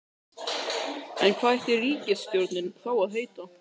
En hvað ætti ríkisstjórnin þá að heita?